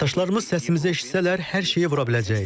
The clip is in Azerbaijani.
Tərəfdaşlarımız səsimizi eşitsələr, hər şeyi vura biləcəyik.